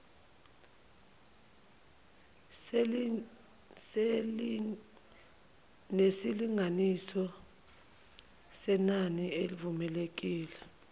nesilinganiso senani elivumelekile